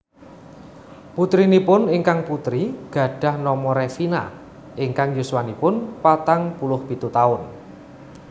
Putrinipun ingkang putri gadhah nama Revina ingkang yuswanipun patang puluh pitu taun